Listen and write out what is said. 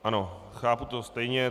Ano, chápu to stejně.